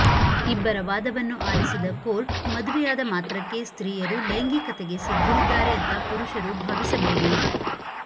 ಇಬ್ಬರ ವಾದವನ್ನು ಆಲಿಸಿದ ಕೋರ್ಟ್ ಮದುವೆಯಾದ ಮಾತ್ರಕ್ಕೆ ಸ್ತ್ರೀಯರು ಲೈಂಗಿಕತೆಗೆ ಸಿದ್ಧರಿದ್ದಾರೆ ಅಂತ ಪುರುಷರು ಭಾವಿಸಬೇಡಿ